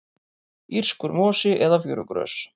írskur mosi eða fjörugrös